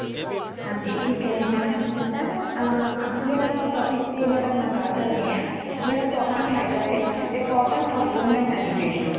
ਹਾਂਜੀ ,ਠੀਕ ਹੈ ,ਜੀ madam ,madam ਅ ਅੱਜ ਜੇੜ੍ਹਾ ਅੱਸੀ topic ਤੇ ਮੈਂ ਤੁਹਾਡੇ ਨਾਲ ਗੱਲ ਕਰਨੀ ਏਹ ਮੇਰਾ topic ਹੇਗਾ ਹੇ important of woman education